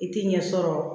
I tɛ ɲɛ sɔrɔ